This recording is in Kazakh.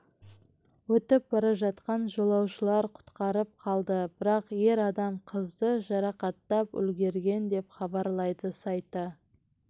өтіп бара жатқан жолаушылар құтқарып қалды бірақ ер адам қызды жарақаттап үлгерген деп хабарлайды сайты